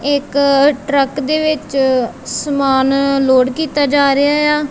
ਇੱਕ ਟਰੱਕ ਦੇ ਵਿੱਚ ਸਮਾਨ ਲੋੜ ਕੀਤਾ ਜਾ ਰਿਹਾ ਏ ਆ।